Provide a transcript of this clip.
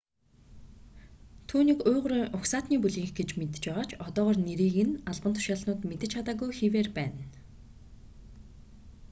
түүнийг уйгурын угсаатны бүлгийнх гэж мэдэж байгаа ч одоогоор нэрийг нь албан тушаалтнууд мэдэж чадаагүй хэвээр байна